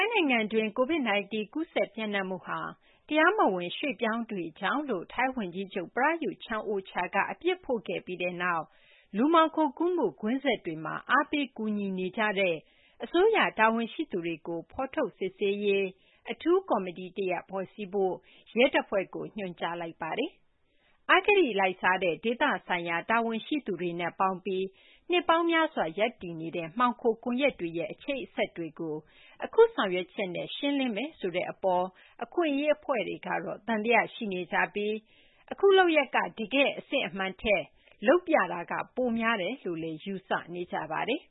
နိုင်ငံတွင်း COVID-19 ကူးစက် ပျံ့နှံ့မှုဟာ တရားမဝင် ရွှေ့ပြောင်းတွေကြောင့်လို့ ထိုင်းဝန်ကြီးချုပ် Prayut Chan-ocha က အပြစ်ဖို့ခဲ့ပြီးနောက် လူမှောင်ခိုးကူးမှု ကွင်းဆက်တွေမှာ အားပေးကူညီနေကြတဲ့ အစိုးရ တာဝန်ရှိသူတွေကို ဖော်ထုတ် စစ်ဆေးရေး အထူးကော်မတီ တရပ် ဖွဲ့စည်းဖို့ ရဲတပ်ဖွဲ့ကို ညွှန်ကြားလိုက်ပါတယ်။ အဂတိ လိုက်စားတဲ့ ဒေသဆိုင်ရာ တာဝန်ရှိသူတွေနဲ့ပေါင်းပြီး နှစ်ပေါင်းများစွာ ရပ်တည်နေတဲ့ မှောင်ခို ကွန်ရက်တွေရဲ့ အချိတ်အဆက်တွေကို အခု ဆောင်ရွက်ချက်နဲ့ ရှင်းလင်းမယ်ဆိုတဲ့ အပေါ် အခွင့်အရေး အဖွဲ့တွေကတော့ သံသယ ရှိနေကြပြီး အခု လုပ်ရပ်က တကယ့် အစစ်အမှန်ထက် လုပ်ပြတာက ပိုများတယ်လို့လည်း ယူဆနေကြပါတယ်